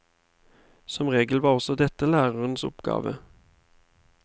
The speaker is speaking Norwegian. Som regel var også dette lærerens oppgave.